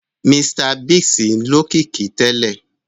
Mr Biggs lókìkí tẹ́lẹ̀